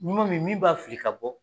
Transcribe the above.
N ko min, min b'a fili ka bɔ